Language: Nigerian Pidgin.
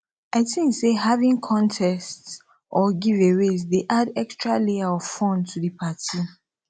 i think say having contests or giveaways dey add extra layer of fun to di party